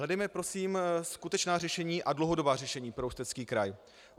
Hledejme prosím skutečná řešení a dlouhodobá řešení pro Ústecký kraj.